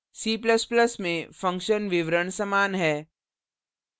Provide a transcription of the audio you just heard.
c ++ में function विवरण समान है